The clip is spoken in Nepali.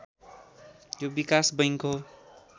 यो विकास बैङ्क हो